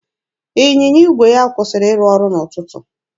Ịnyịnya igwe ya kwụsịrị ịrụ ọrụ n'ụtụtụ.